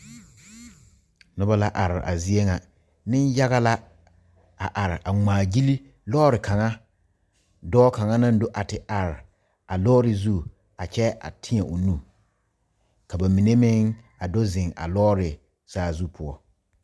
Noba la are a zie ŋa nenyaga la a are a ŋmaa gyile lɔre kaŋa dɔɔ kaŋa naŋ do a te are a lɔre zu a kyɛ a teɛ o nu ka ba mine meŋ a do zeŋ a lɔre saazu poɔ.